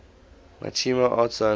machinima arts sciences